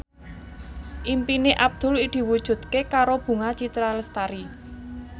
impine Abdul diwujudke karo Bunga Citra Lestari